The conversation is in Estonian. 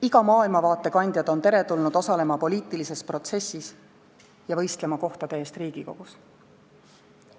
Iga maailmavaate kandjad on teretulnud osalema poliitilises protsessis ja võistlema kohtade eest Riigikogus.